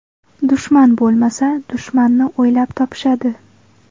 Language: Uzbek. Dushman bo‘lmasa, dushmanni o‘ylab topishadi.